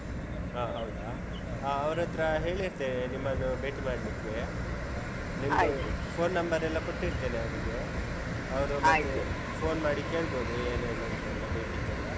ಆ, ಹೌದಾ ಹಾ ಅವ್ರತ್ರ ಹೇಳಿರ್ತೇವೆ ನಿಮ್ಮನ್ನುಭೇಟಿ ಮಾಡ್ಲಿಕ್ಕೆ ನಿಮ್ದು phone number ಎಲ್ಲ ಕೊಟ್ಟಿರ್ತೇನೆ ಅವ್ರಿಗೆ ಅವ್ರು ಮತ್ತೆ phone ಮಾಡಿ ಕೇಳ್ಬೋದು ಏನೇನೂಂತೆಲ್ಲ ಬೇಕಿದ್ದೆಲ್ಲ.